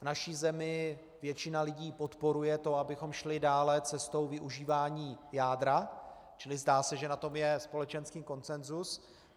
V naší zemi většina lidí podporuje to, abychom šli dále cestou využívání jádra, čili zdá se, že na tom je společenský konsenzus.